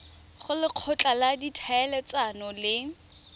go lekgotla la ditlhaeletsano le